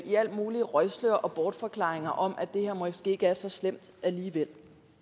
mulige røgslør og bortforklaringer om at det her måske ikke er så slemt alligevel